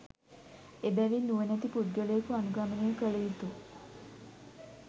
එබැවින් නුවණැති පුද්ගලයකු අනුගමනය කළ යුතු